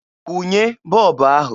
Kwụnye bọọbụ ahụ!